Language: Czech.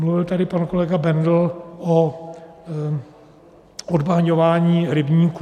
Mluvil tady pan kolega Bendl o odbahňování rybníků.